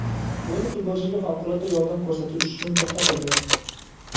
O‘yin futbolchiga favqulodda yordam ko‘rsatish uchun to‘xtatildi.